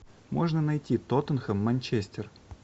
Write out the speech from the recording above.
можно найти тоттенхэм манчестер